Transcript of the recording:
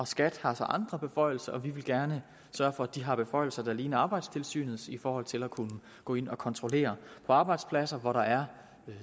skat har så andre beføjelser og vi vil gerne sørge for at de har beføjelser der ligner arbejdstilsynets i forhold til at kunne gå ind og kontrollere på arbejdspladser hvor der er